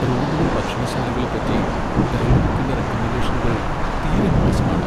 റോമിലെ ഭക്ഷണശാലകളെപ്പറ്റി ഗൈഡ്ബുക്കിന്റെ റെക്കമെൻഡേഷനുകൾ തീരെ മോശമാണ്.